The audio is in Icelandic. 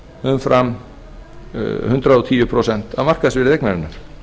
umfram hundrað og tíu prósent af markaðsverði eignarinnar